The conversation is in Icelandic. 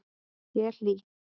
Ég er hlý.